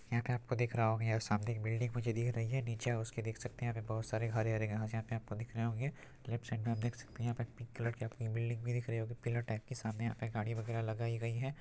यहाँ पे आपको दिख रहा होगा यहाँ सामने एक बिल्डिंग मुझे दिख रही है| नीचे आप उसके देख सकते है यहाँ पे बोहोत सारे हरे-हरे घांस है | यहाँ पे आपको दिख रहे होंगे लेफ्ट साइड में आप देख सकते हैं यहाँ पे पिंक कलर की आपको यह बिल्डिंग भी दिख रही होगी| पीलर टाइप की सामने यहाँ पे गाड़ी वगेरा लगई हुई है।